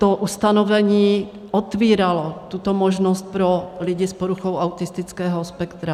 To ustanovení otvíralo tuto možnost pro lidi s poruchou autistického spektra.